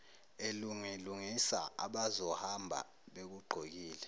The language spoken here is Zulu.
elungilungisa abazohamba bekugqokile